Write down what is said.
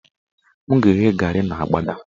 M ga-eghe garị n' agbada